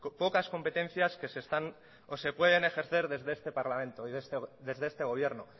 pocas competencias que se pueden ejercer desde este parlamento y desde este gobierno